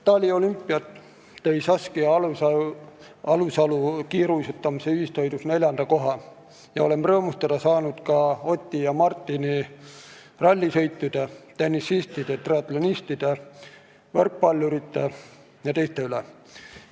Taliolümpialt tõi Saskia Alusalu kiiruisutamise ühissõidus neljanda koha ja oleme saanud rõõmustada ka Oti ja Martini rallisõitude, tennisistide, triatlonistide, võrkpallurite jt üle.